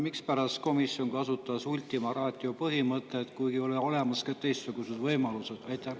Mispärast komisjon kasutas ultima ratio põhimõtet, kuigi on olemas ka teistsugused võimalused?